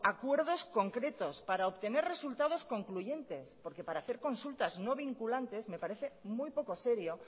acuerdos concretos para obtener resultados concluyentes porque para hacer consultas no vinculantes me parece muy poco serio